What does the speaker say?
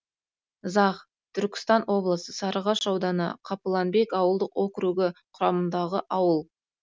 зах түркістан облысы сарыағаш ауданы қапыланбек ауылдық округі құрамындағы ауыл